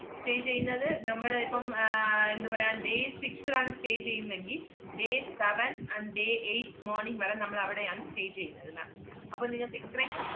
stay ചെയ്യുന്നത് നമ്മള് ഇപ്പം ആഹ് എന്തുപറയാം, day six ൽ ആണ് stay ചെയ്യുന്നെങ്കി day seven and day eight morning വരെ നമ്മളവടെയാണ് stay ചെയ്യുന്നത് ma'am അപ്പ നിങ്ങക്ക് ഇത്രയും,